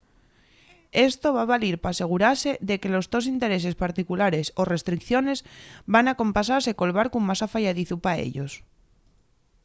esto va valir p’asegurase de que los tos intereses particulares o restricciones van acompasase col barcu más afayadizu pa ellos